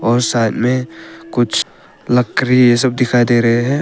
और साथ में कुछ लकड़ी ये सब दिखाई दे रहे हैं।